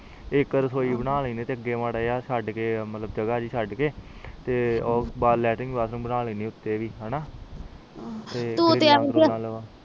ਇਕ ਰਸੋਈ ਬਣਾ ਲਾਉਂਦੇ ਆ ਅਗੇ ਜੱਗ ਜੀ ਚਗੜ ਕੇ ਤੇ ਇਕ ਲੈਟਰਿੰਗ ਬਾਥਰੋਮ ਬਣਾ ਲਿੰਡਾ ਆ ਉਪਰ ਵੀ ਹਨ